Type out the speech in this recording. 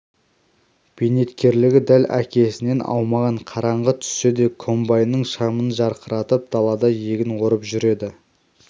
бейнеткерлігі дәл әкесінен аумаған қараңғы түссе де комбайнының шамын жарқыратып далада егін орып жүреді